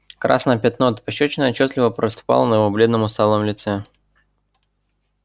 красное пятно от пощёчины отчётливо проступало на его бледном усталом лице